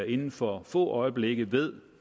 inden for få øjeblikke ved